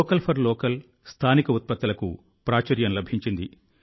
vocal for local స్థానిక ఉత్పత్తులకు ప్రాచుర్యం లభించింది